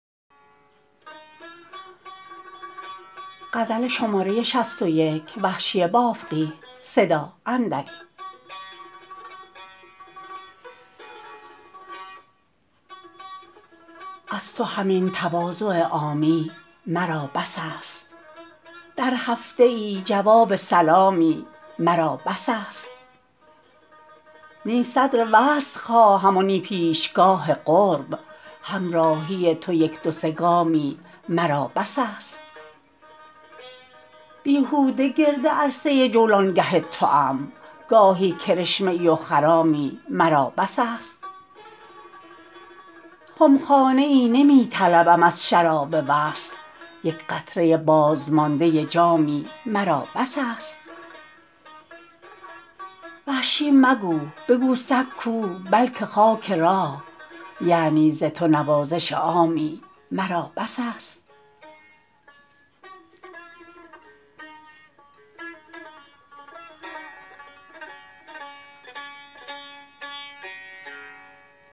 از تو همین تواضع عامی مرا بس است در هفته ای جواب سلامی مرا بس است نی صدر وصل خواهم و نی پیشگاه قرب همراهی تو یک دو سه گامی مرا بس است بیهوده گرد عرصه جولانگه توام گاهی کرشمه ای و خرامی مرا بس است خمخانه ای نمی طلبم از شراب وصل یک قطره بازمانده جامی مرا بس است وحشی مگو بگو سگ کو بلکه خاک راه یعنی ز تو نوازش مامی مرا بس است